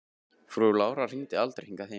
Frú Lára hringdi aldrei hingað heim.